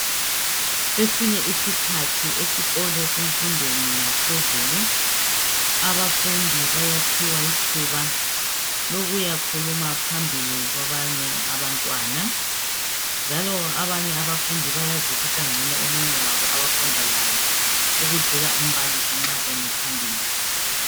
Kwesinye isikhathi esikolo semfundweni yaphezulu. Abafundu bayaphiwa ithuba lokuyakhuluma phambili kwabanye abantwana njalo abanye abafundi bayazwisisa ncono omunye wabo abafunda laye ukudlula umbalisi nxa emi phambili.